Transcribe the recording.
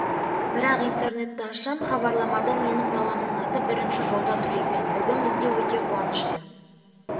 бірақ интернетті ашсам хабарламада менің баламның аты бірінші жолда тұр екен бүгін бізде өте қуанышты